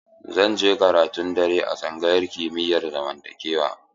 Zan je karatun dare a tsangayar kimiyar zamantakewa.